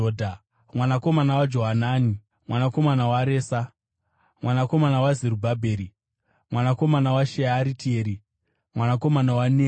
mwanakomana waJoanani, mwanakomana waResa, mwanakomana waZerubhabheri, mwanakomana waShearitieri, mwanakomana waNeri,